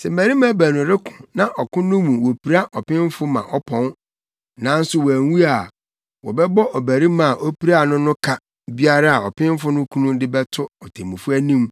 “Sɛ mmarima baanu reko na ɔko no mu wopira ɔpemfo ma ɔpɔn, nanso wanwu a, wɔbɛbɔ ɔbarima a opiraa no no ka biara a ɔpemfo no kunu de bɛto atemmufo anim